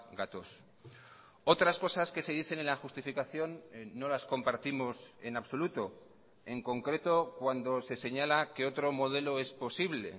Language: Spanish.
gatoz otras cosas que se dicen en la justificación no las compartimos en absoluto en concreto cuando se señala que otro modelo es posible